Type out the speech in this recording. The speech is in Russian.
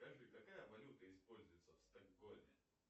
скажи какая валюта используется в стокгольме